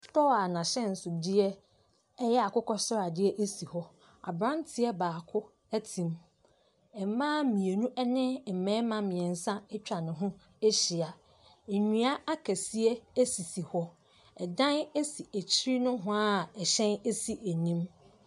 Kaa a n'ahyɛnsodeɛ yɛ akokɔsradeɛ si hɔ. Aberanteɛ baako te mu. Mmaa mmienu ne mmarima mmeɛnsa atwa ne ho ahyia. Nnua akɛseɛ sisi hɔ. Ɛdan si akyiri nohoa a ɛhyɛn si anim.